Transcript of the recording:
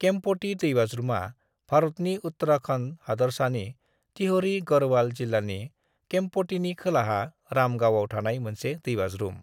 केम्पटी दैबाज्रुमा भारतनि उत्तराखण्ड हादरसानि टिहरी गढ़वाल जिल्लानि केम्पटीनि खोलाहा राम गावआव थानाय मोनसे दैबाज्रुम।